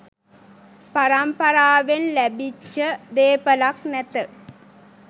පරම්පාරාවෙන් ලැබිච්ච දේපලක් නැත.